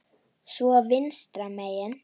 Svo vinstra megin.